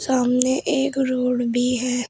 सामने एक रोड भी है।